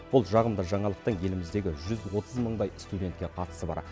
бұл жағымды жаңалықтың еліміздегі жүз отыз мыңдай студентке қатысы бар